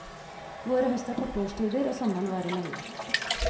Vår og høst er korte årstider, og sommeren varer lenge.